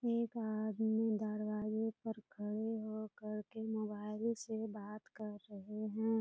एक आदमी दरवाजे पर खड़े हो कर के मोबाइल से बात कर रहे हैं।